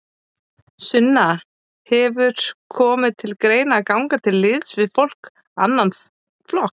Sunna: Hefur komið til greina að ganga til liðs við annan flokk?